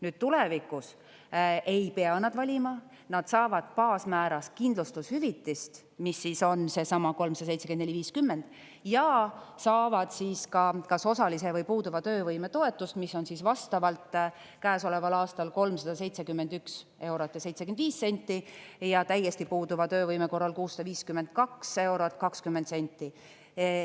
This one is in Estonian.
Nüüd, tulevikus ei pea nad valima, nad saavad baasmääras kindlustushüvitist, mis siis on seesama 374.50, ja saavad siis ka kas osalise või puuduva töövõime toetust, mis on vastavalt käesoleval aastal 371 eurot ja 75 senti, ja täiesti puuduva töövõime korral 652 eurot 20 senti.